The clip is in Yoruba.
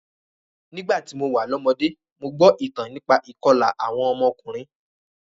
Nígbà tí mo wà lọ́mọdé, mo gbọ́ ìtàn nípa ìkọlà awon omo okurunin